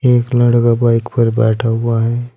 एक लड़का बाइक पर बैठा हुआ है।